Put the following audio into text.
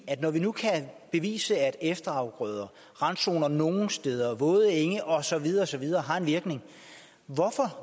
når vi nu kan bevise at efterafgrøder randzoner nogle steder våde enge og så videre og så videre har en virkning